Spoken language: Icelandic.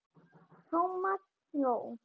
Thomas hló.